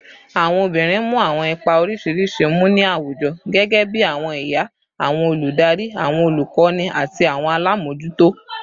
Awọn obinrin mu awọn ipa oriṣiriṣi mu ni awujọ, gẹgẹbi awọn iya, awọn oludari, awọn olukọni, ati awọn alamojuto